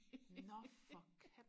nå for katten